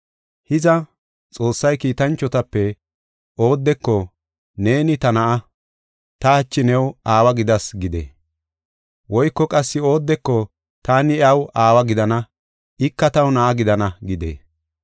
Hiza, Xoossay kiitanchotape oodeko, “Neeni ta Na7a; ta hachi new aawa gidas” gidee? Woyko qassi oodeko, “Taani iyaw aawa gidana; ika taw na7a gidana” gidee?